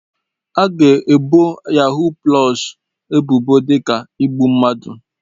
A ga-ebo yahuu pụlọs ebubo dị ka igbu mmadụ.